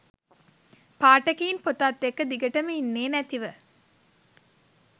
පාඨකයින් පොතත් එක්ක දිගටම ඉන්නේ නැතිව